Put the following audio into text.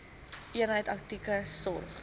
eenheid akute sorg